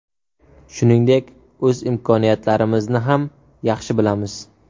Shuningdek, o‘z imkoniyatlarimizni ham yaxshi bilamiz.